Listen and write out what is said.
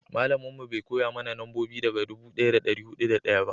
malamin mu bai koya mana nambobi daga dubu daya da dari hudu da daya ba